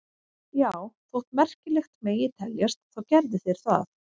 Já, þótt merkilegt megi teljast þá gerðu þeir það.